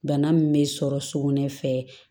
Bana min bɛ sɔrɔ sugunɛ fɛ